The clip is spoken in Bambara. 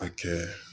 A kɛ